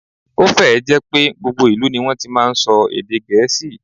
Ó fẹ́ ẹ̀ jẹ́ pé gbogbo ìlú ní wọ́n ti máa ń sọ èdè Gẹ̀ẹ́sì